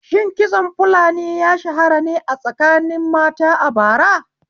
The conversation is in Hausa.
Shin kitson fulani ya shahara ne a tsakanin mata a bara?